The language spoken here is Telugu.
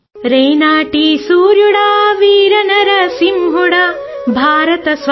Telugu sound clip 27 seconds Hindi అనువాదానికి తెలుగు రూపంఇది బహుశా అవసరం ఉండదు